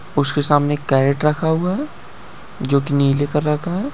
उसके सामने एक कैरेट रखा हुआ है जो कि नीले कलर का है।